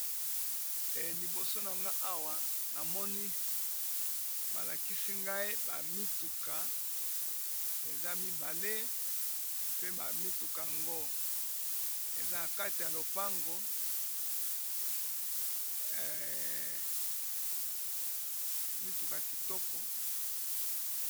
E liboso na nga awa namoni balakisi ngai bamituka eza mibale pe bamituka ngo eza na kati ya lopango mituka kitoko